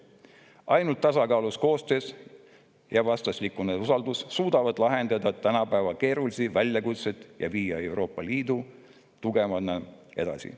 Ainult tasakaalus koostöös ja vastastikuse usaldusega suudame lahendada tänapäeva keerulisi väljakutseid ja viia Euroopa Liitu tugevamana edasi.